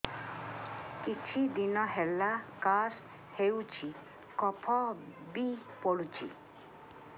କିଛି ଦିନହେଲା କାଶ ହେଉଛି କଫ ବି ପଡୁଛି